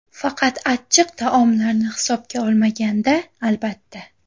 Faqat achchiq taomlarini hisobga olmaganda, albatta.